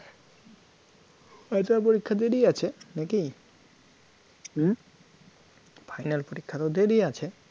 Final পরীক্ষার দেরী আছে নাকি? অ্যাঁ? final পরীক্ষা আরও দেরী আছে